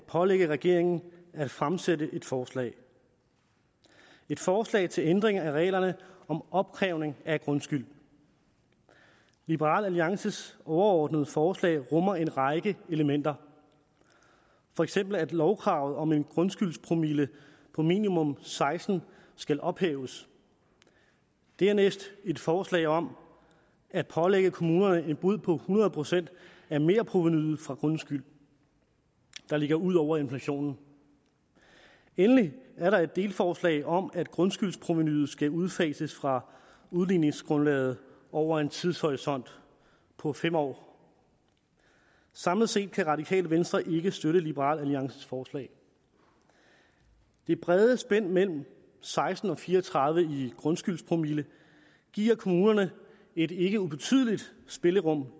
at pålægge regeringen at fremsætte et forslag forslag til ændring af reglerne om opkrævning af grundskyld liberal alliances overordnede forslag rummer en række elementer for eksempel at lovkravet om en grundskyldspromille på minimum seksten skal ophæves og dernæst et forslag om at pålægge kommunerne en bod på hundrede procent af merprovenuet fra grundskyld der ligger ud over inflationen endelig er der et delforslag om at grundskyldsprovenuet skal udfases fra udligningsgrundlaget over en tidshorisont på fem år samlet set kan radikale venstre ikke støtte liberal alliances forslag det brede spænd mellem seksten og fire og tredive i grundskyldspromille giver kommunerne et ikke ubetydeligt spillerum